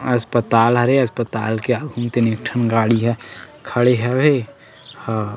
अस्पताल हरे अस्पताल के आघू म तेन एक ठन गाड़ी ह खड़े हवय अ--